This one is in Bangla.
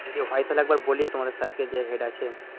যদি হয় তাহলে একবার বলিও তোমাদের স্যারকে যে হেড আছে